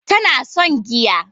Tana son giya